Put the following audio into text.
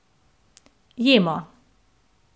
Jemo!